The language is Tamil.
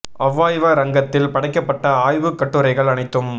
அவ்வாய்வரங்கத்தில் படைக்கப்பட்ட ஆய்வுக் கட்டுரைகள் அனைத்தும்